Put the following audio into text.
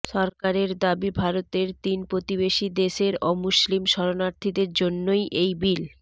সরকারের দাবি ভারতের তিন প্রতিবেশী দেশের অমুসলিম শরণার্থীদের জন্যই এই বিল